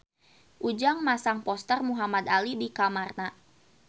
Ujang masang poster Muhamad Ali di kamarna